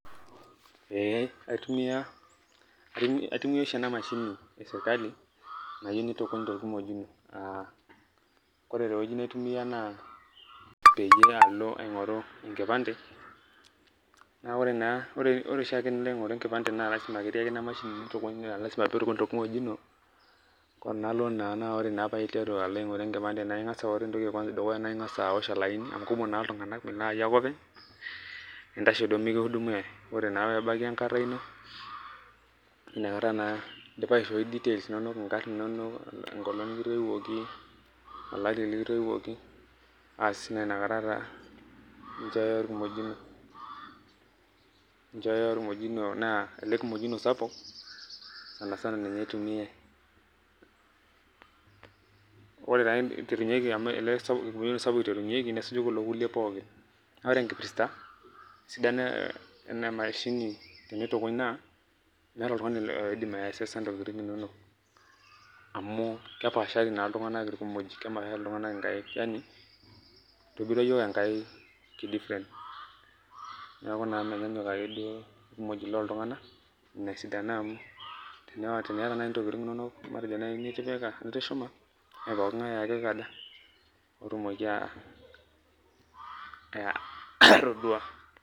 Ee aitumia oshi ena mashini esirkali nayieu nitukuny torkimojino, ah kore tewueji naitumia naa igira alo aing'oru enkipande, na ore naa ore oshiake tenilo aing'oru enkipande na lasima ketii ake ina mashini nitukuny, pitukuny torkimojino, kunalo naa na ore paiteru alo aing'oru enkipande, na ing'asa ore entoki edukuya na ing'asa awosh olaini amu kumok naa iltung'anak, mayie ake openy, nintasho duo mikiudumiai. Ore naa pebaiki enkata ino, inakata naa idipa aishoi details inonok inkarn inonok, enkolong nikitoiwuoki, olari likitoiwuoki, aas naa inakata naa inchooyo orkimojino, inchooyo orkimojino na ele kimojino sapuk, sanasana ninye itumiai. Ore taa pitunyeki amu ele sapuk iterunyeki nesuju kulo kulie pookin. Na ore enkipirta ena mashini tenitukuny naa, meeta oltung'ani oidim aksesa intokiting inonok. Amu kepaashari naa iltung'anak irkimojik. Kepaashari iltung'anak inkaik. Itobirua yiok Enkai ki different. Neeku naa menyanyuk akeduo irkimojik loltung'anak, inesidano amu teniata nai ntokiting inonok matejo nai nitipika nitushuma, mepoking'ae ake oikaja, otumoki atodua.